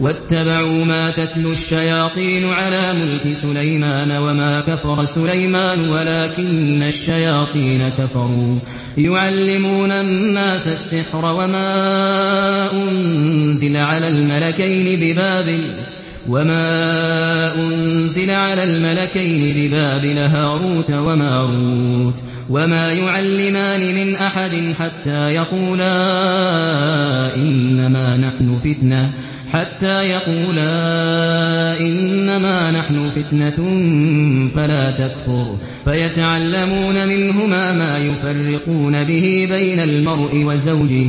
وَاتَّبَعُوا مَا تَتْلُو الشَّيَاطِينُ عَلَىٰ مُلْكِ سُلَيْمَانَ ۖ وَمَا كَفَرَ سُلَيْمَانُ وَلَٰكِنَّ الشَّيَاطِينَ كَفَرُوا يُعَلِّمُونَ النَّاسَ السِّحْرَ وَمَا أُنزِلَ عَلَى الْمَلَكَيْنِ بِبَابِلَ هَارُوتَ وَمَارُوتَ ۚ وَمَا يُعَلِّمَانِ مِنْ أَحَدٍ حَتَّىٰ يَقُولَا إِنَّمَا نَحْنُ فِتْنَةٌ فَلَا تَكْفُرْ ۖ فَيَتَعَلَّمُونَ مِنْهُمَا مَا يُفَرِّقُونَ بِهِ بَيْنَ الْمَرْءِ وَزَوْجِهِ ۚ